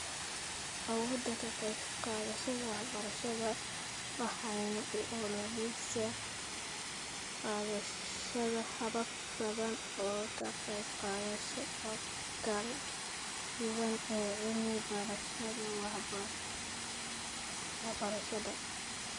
Awooda ka qaybqaadashada waxbarashada, waxayna u ololaysaa qaadashada habab badan oo ka qaybqaadasho oo kala duwan ee cilmi-baarayaasha waxbarashada.